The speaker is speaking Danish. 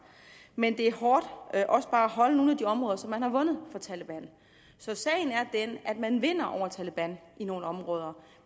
men det er hårdt også bare at holde nogle af de områder som man har vundet fra taleban så sagen er den at man vinder over taleban i nogle områder